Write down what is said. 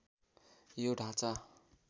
यो ढाँचा